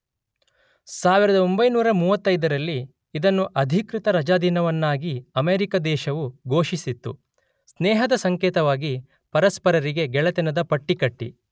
೧೯೩೫ರಲ್ಲಿ ಇದನ್ನು ಅಧಿಕೃತ ರಜಾದಿನವನ್ನಾಗಿ ಅಮೇರಿಕಾ ದೇಶವು ಘೋಷಿಸಿತ್ತು.ಸ್ನೇಹದ ಸಂಕೇತವಾಗಿ ಪರಸ್ಪರರಿಗೆ ಗೆಳೆತನದ ಪಟ್ಟಿ ಕಟ್ಟಿ